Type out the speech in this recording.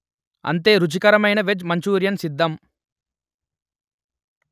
అంతే రుచికరమైన veg Manchurian సిద్దం